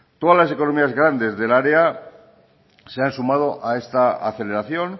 todas las economías grandes del área se han sumado a esta aceleración